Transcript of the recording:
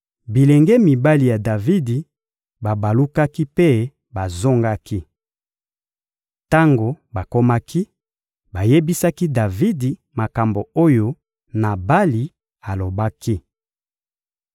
Bilenge mibali ya Davidi babalukaki mpe bazongaki. Tango bakomaki, bayebisaki Davidi makambo oyo Nabali alobaki.